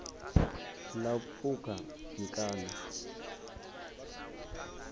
ḽa u pfukha mikano cbrta